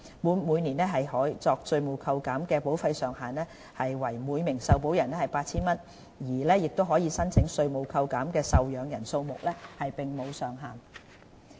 每年可作稅務扣減的保費上限為每名受保人 8,000 元，而可申請稅務扣減的受養人數目並無上限。